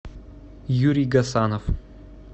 юрий гасанов